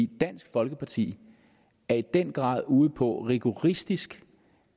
dansk folkeparti er i den grad ude på rigoristisk